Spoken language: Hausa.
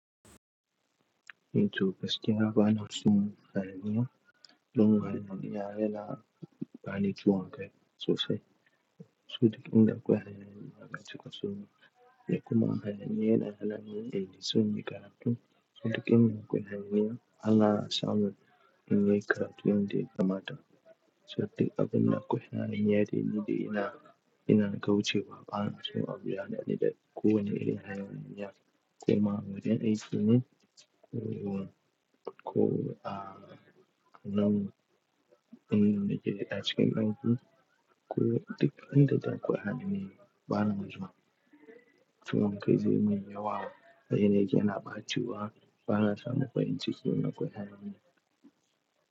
E to gaskiya ba na son hayaniya. Don haka in iya rera bani ciwon kai sosai. So da kin na kwaya hayaniya ma gaskiya so ni. Yadda kuma hayaniya yana hana ni yin so ni karatu. So da kin na kwaya hayaniya, Allah ya samo min yanke ratayun da ya mata. So da abin da kwaya hayaniya ne, ni dai ina, ina gaucewa. Ba na so a biya ni a nan da. Ko wani irin hayaniya koma wajen aiki ne. Ko a nan, nan na cike gangan. Ko a dukkanin da kwaya hayaniya ba na zuwa. So don kai zai min yawa. Da yanayi yana bacewa, bana so na fahimci ciwo na kwaya hayaniya.